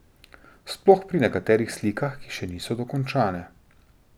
Sploh pri nekaterih slikah, ki še niso dokončane.